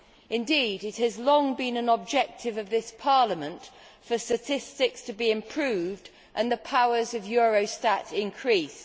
Indeed, it has long been an objective of this Parliament for statistics to be improved and the powers of Eurostat increased.